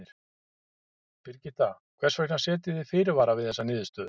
Birgitta, hvers vegna setjið þið fyrirvara við þessa niðurstöðu?